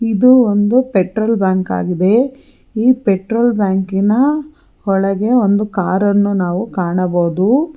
ಇದು ಒಂದು petrol bunk ಆಗಿದೆ ಈ ಪೆಟ್ರೋಲ್ ಬಂಕಿನ ಒಳಗೆ ಒಂದು ಕಾರನ್ನು ನಾವು ಕಾಣಬಹುದು.